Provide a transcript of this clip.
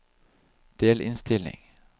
delinnstilling